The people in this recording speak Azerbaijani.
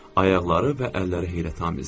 Ayaqları və əlləri heyrətamizdir.